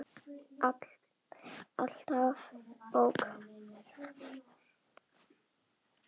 Alltaf bók.